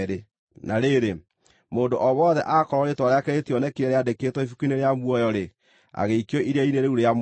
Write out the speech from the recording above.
Na rĩrĩ, mũndũ o wothe akorwo rĩĩtwa rĩake rĩtionekire rĩandĩkĩtwo ibuku-inĩ rĩa muoyo-rĩ, agĩikio iria-inĩ rĩu rĩa mwaki.